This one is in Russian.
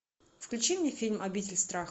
включи мне фильм обитель страха